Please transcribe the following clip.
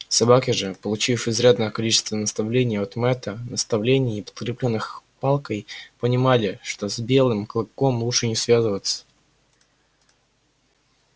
собаки же получив изрядное количество наставлений от мэтта наставлений подкреплённых палкой понимали что с белым клыком лучше не связываться